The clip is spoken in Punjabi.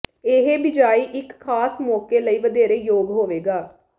ਇਹ ਬਿਜਾਈ ਇੱਕ ਖਾਸ ਮੌਕੇ ਲਈ ਵਧੇਰੇ ਯੋਗ ਹੋਵੇਗਾ